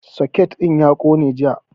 Soket ɗin ya ƙone jiya